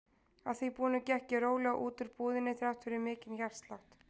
Að því búnu gekk ég rólega út úr búðinni þrátt fyrir mikinn hjartslátt.